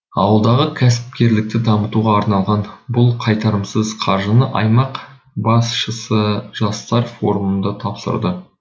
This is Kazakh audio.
ауылдағы кәсіпкерлікті дамытуға арналған бұл қайтарымсыз қаржыны аймақ басшысы жастар форумында тапсырды